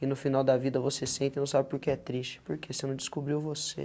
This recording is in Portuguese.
E no final da vida você senta e não sabe por que é triste, porque você não descobriu você.